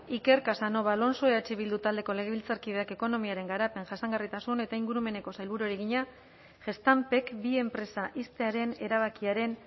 iker casanova alonso eh bildu taldeko legebiltzarkideak ekonomiaren garapen jasangarritasun eta ingurumeneko sailburuari egina gestampek bi enpresa ixtearen erabakiaren